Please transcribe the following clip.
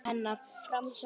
Framhjá mér.